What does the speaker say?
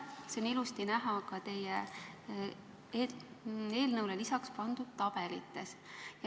See on ilusasti näha ka teie eelnõule lisatud tabelitest.